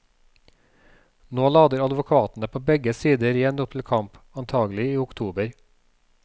Nå lader advokatene på begge sider igjen opp til kamp, antagelig i oktober.